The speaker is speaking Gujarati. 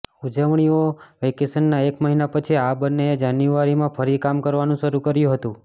ઉજવણીઓ અને વેકેશનના એક મહિના પછી આ બંનેએ જાન્યુઆરીમાં ફરી કામ કરવાનું શરૂ કર્યું હતું